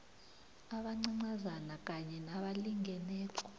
abancancazana kanye nabalingeneko